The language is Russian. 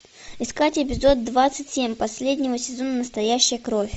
искать эпизод двадцать семь последнего сезона настоящая кровь